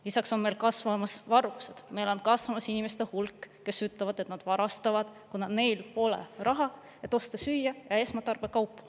Lisaks on meil kasvamas vargused, meil on kasvamas inimeste hulk, kes ütlevad, et nad varastavad, kuna neil pole raha, et osta süüa ja esmatarbekaupu.